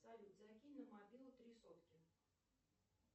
салют закинь на мобилу три сотки